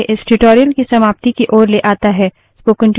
यह मुझे इस tutorial की समाप्ति की ओर लाता है